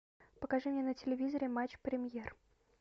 покажи мне на телевизоре матч премьер